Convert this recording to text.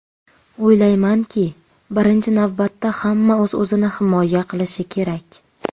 O‘ylaymanki, birinchi navbatda hamma o‘z-o‘zini himoya qilishi kerak.